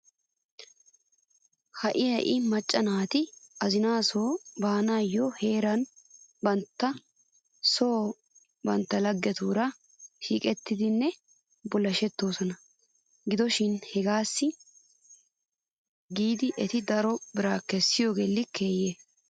Ha'i ha'i maca naati azinaasoo baananiyoo heeran bantta son bantta laggetuura shiiqettidinne bullashettoosona. Gido shi hegaassi giidi eti daro biraa kessiyoogee likkeeye?